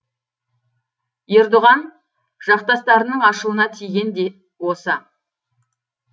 ердоған жақтастарының ашуына тиген де осы